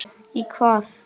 Í hvað?